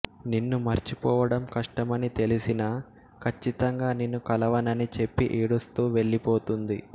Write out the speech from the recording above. నిన్ను మర్చిపోవడం కష్టమని తెలిసినా కచ్చితంగా నిన్ను కలవనని చెప్పి ఏడుస్తూ వెళ్ళిపోతుంది